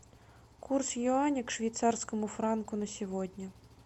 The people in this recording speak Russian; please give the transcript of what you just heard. курс юаня к швейцарскому франку на сегодня